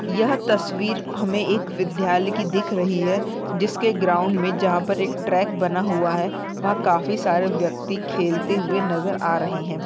यह तस्वीर हमे एक विद्यालय की दिख रही हैं जिसके ग्राउंड मे जहां पर एक ट्रैक बना हुआ हैं वहाँ पर काफी सारे व्यक्ति खेलते हुए नजर आ रहे हैं।